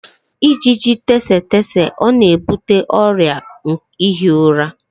ijiji tsetse ọ na-ebute ọrịa ihi ụra?